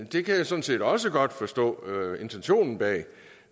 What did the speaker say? det kan jeg sådan set også godt forstå intentionen bag